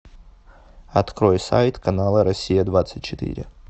открой сайт канала россия двадцать четыре